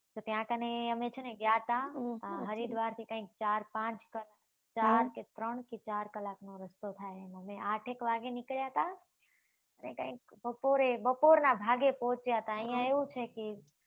તો ત્યાં કને અમે છે ને ગયા હતા, હરિદ્વારથી કઈંક ચાર-પાંચ કે એમ, ચાર ત્રણ કે ચાર કલાકનો રસ્તો થાય, અમે આઠેક વાગ્યે નીકળ્યા હતા ને કાઈંક બપોરે, બપોરના ભાગે પહોંચ્યા હતા. અહીંયા એવું છે કે